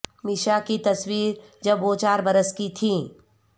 میشا کی تصویر جب وہ چار برس کی تھیں